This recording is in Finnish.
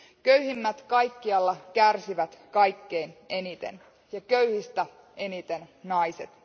Köyhimmät kaikkialla kärsivät kaikkein eniten, ja köyhistä eniten naiset.